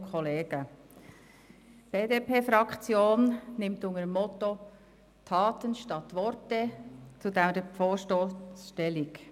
Die BDP-Fraktion nimmt unter dem Motto «Taten statt Worte» zu diesem Vorstoss Stellung.